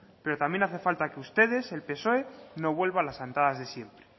pero también hace falta que ustedes el psoe no vuelva a las andadas de siempre